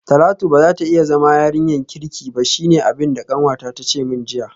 Talatu bazata iya zama yarinyarki ba shine abinda kanwata tace min jiya